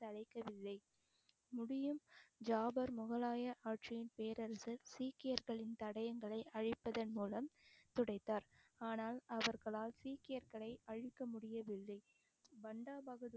சளைக்கவில்லை முடியும் ஜாபர் முகலாய ஆட்சியின் பேரரசர் சீக்கியர்களின் தடயங்களை அழிப்பதன் மூலம் துடைத்தார் ஆனால் அவர்களால் சீக்கியர்களை அழிக்க முடியவில்லை பாண்டா பகதூர்